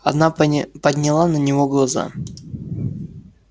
она подняла на него глаза